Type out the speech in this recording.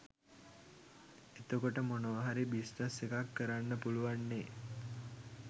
එතකොට මොනව හරි බිස්‌නස්‌ එකක්‌ කරන්න පුළුවන්නේ